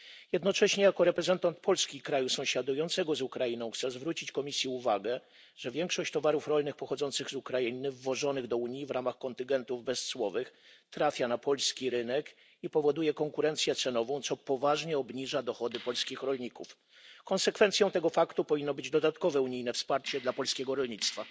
Jednocześnie jako reprezentant Polski, kraju sąsiadującego z Ukrainą, chcę zwrócić Komisji uwagę, że większość towarów rolnych pochodzących z Ukrainy wwożonych do Unii w ramach kontyngentów bezcłowych trafia na polski rynek i powoduje konkurencję cenową, co poważnie obniża dochody polskich rolników. Konsekwencją tego faktu powinno być dodatkowe unijne wsparcie dla polskiego rolnictwa.